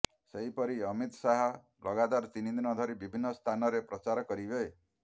ସେହିପରି ଅମିତ ଶାହ ଲଗାତର ତିନି ଦିନ ଧରି ବିଭିନ୍ନ ସ୍ଥାନରେ ପ୍ରଚାର କରିବେ